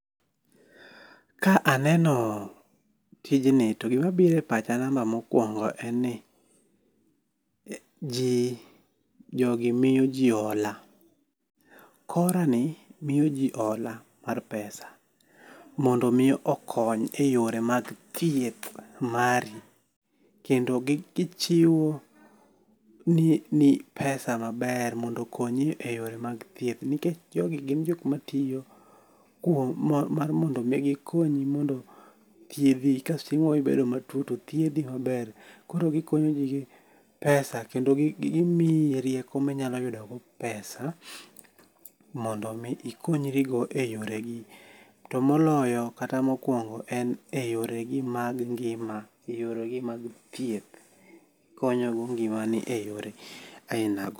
Ka aneno tijni to gima biro e pacha namba mokwongo en ni ji jogi miyo ji hola. Chora ni miyo ji hola ma pesa. Mondo mi okony e yore mag thieth mari. Kendo gichiwo ni pesa maber mondo okonyi e yore mag thieth. Nikech jogi gin jok matiyo kuom mar mondo mi gikonyi mondo thiedhi ka chieng' moro ibedo matuo to dhiedhi maber. Koro gikonyo ji gi pesa kendo gimiyi rieko minyalo yudo godo pesa mondo mi ikonyri go e yore gi. To moloyo kata mokwongo en yoregi mag ngima e yore gi mag thieth. Gikonyo go ngima ni eyore aina go